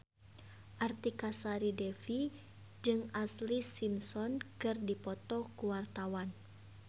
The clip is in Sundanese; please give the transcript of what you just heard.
Artika Sari Devi jeung Ashlee Simpson keur dipoto ku wartawan